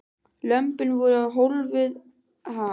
Lömbin voru hólfuð af innst í annarri krónni.